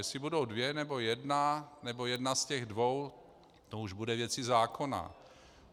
Jestli budou dvě, nebo jedna, nebo jedna z těch dvou, to už bude věcí zákona.